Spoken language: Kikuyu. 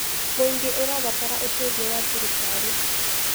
Mũingĩ ũrabatara ũteithio wa thirikari.